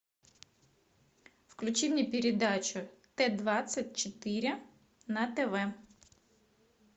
включи мне передачу т двадцать четыре на тв